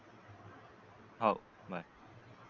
हाव